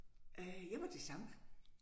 Øh jeg var til samba